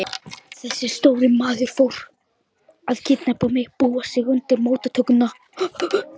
Þessi stóri maður fór að búa sig undir móttökuna.